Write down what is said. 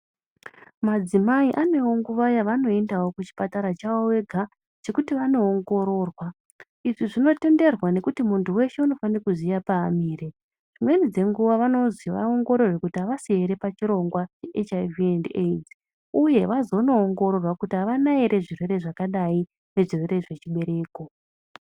Madzimai anewo nguva yavanoendao kuchipatara chavo vega chekuti vaondoongororwa. Izvi zvinotenderwa ngekuti muntu weshe unofane kuziya paamire. Dzimweni dzenguva vanozi vaongororwe kuti avasi here pachirongwa cheHIV ne AIDS uye vazonoongororwa kuti avana ere zvirwere zvakadai ngezvirwere zvechibereko.